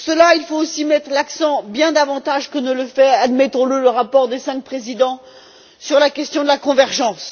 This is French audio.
Il faut aussi mettre l'accent, bien davantage que ne le fait, admettons le, le rapport des cinq présidents, sur la question de la convergence.